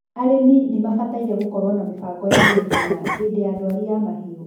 arĩmi nimabataire gũkoruo na mĩbango ya naihenya hĩndĩ ya ndwari ya mahiũ